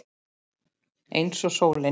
Eins og sólin.